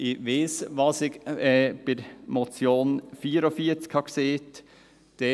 Ich weiss, was ich zur Motion beim Traktandum 44gesagt habe.